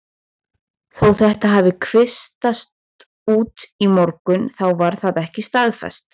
Þó þetta hafi kvisast út í morgun þá var það ekkert staðfest.